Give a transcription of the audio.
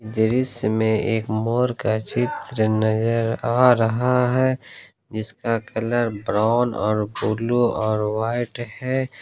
दृश्य में एक मोर का चित्र नजर आ रहा है इसका कलर ब्राउन और ब्लू और वाइट है।